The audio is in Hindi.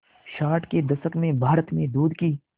साठ के दशक में भारत में दूध की